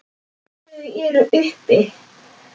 Þau eru uppi.